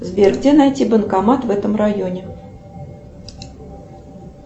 сбер где найти банкомат в этом районе